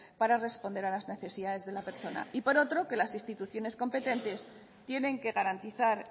para responder a las necesidades de la persona y por otro que las instituciones competentes tienen que garantizar